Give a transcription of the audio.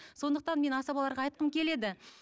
сондықтан мен асабаларға айтқым келеді